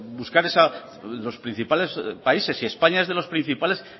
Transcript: buscar esa los principales países españa es de los principales